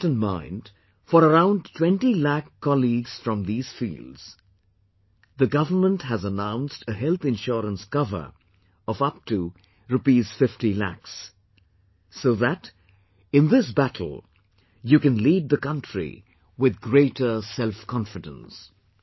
Keeping that in mind , for around 20 lakhs colleagues from these fields, the government has announced a health insurance cover of upto Rs 50 lakhs, so that in this battle, you can lead the country with greater self confidence